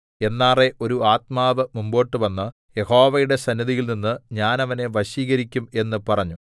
എന്നാറെ ഒരു ആത്മാവ് മുമ്പോട്ടുവന്ന് യഹോവയുടെ സന്നിധിയിൽ നിന്നു ഞാൻ അവനെ വശീകരിക്കും എന്ന് പറഞ്ഞു